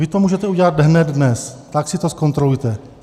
Vy to můžete udělat hned dnes, tak si to zkontrolujte.